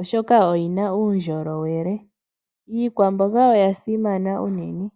oshoka oyina uundjolowele. Iikwamboga oya simana unene.